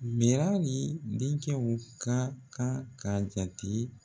hali denkɛw ka kan k'a jate